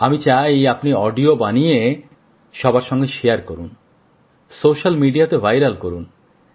আমি চাই আপনি অডিও বানিয়ে সবার সাথে শেয়ার করুন স্যোসাল মিডিয়াতে ভাইরাল করুন